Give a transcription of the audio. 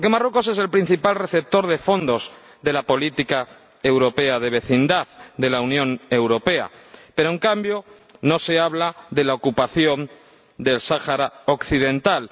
Porque Marruecos es el principal receptor de fondos de la política europea de vecindad de la Unión Europea, pero, en cambio, no se habla de la ocupación del Sáhara Occidental.